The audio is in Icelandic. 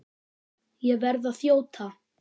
Ég verð að þjóta!